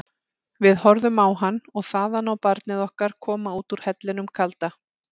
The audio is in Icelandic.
Við horfðum á hann og þaðan á barnið okkar koma út úr hellinum kalda.